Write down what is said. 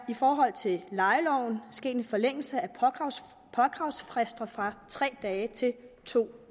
i forhold til lejeloven sket en forlængelse af påkravsfristerne fra tre dage til to